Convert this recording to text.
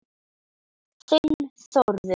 Þinn Þórður.